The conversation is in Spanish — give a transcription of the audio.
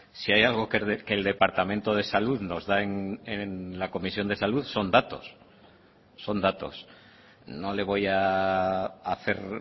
si hay algo que el departamento de salud nos da en la comisión de salud son datos son datos no le voy a hacer